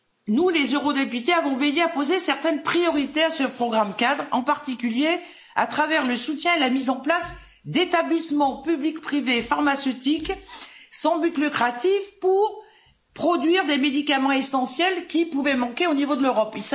Nous, les eurodéputés, nous avons veillé à imposer certaines priorités à ce programme-cadre, en particulier à travers le soutien et la mise en place d'établissements public-privé pharmaceutiques sans but lucratif, pour produire des médicaments essentiels qui pouvaient manquer au niveau de l'Europe.